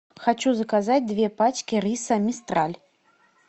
хочу заказать две пачки риса мистраль